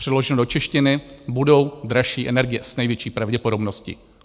Přeloženo do češtiny budou dražší energie s největší pravděpodobností.